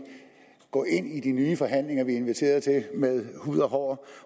går ind i de nye forhandlinger vi er inviteret til med hud og hår